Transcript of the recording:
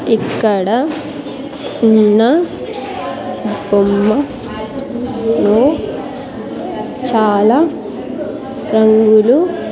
ఇక్కడ ఉన్న బొమ్మ లో చాలా రంగులు.